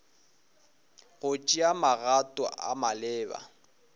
go tšea magato a maleba